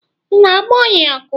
Ị na-agba ohia ọkụ?